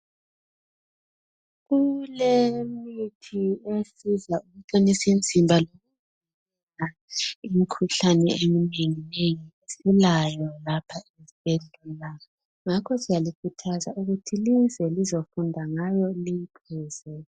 Kulemithi esiza ukuqinisa imzimba loluvikela imkhuhlane emnengi nengi silayo lapha isibhedlela ngakho siyalikhuthaza ukuthi lize lizofunda ngayo liyiphuze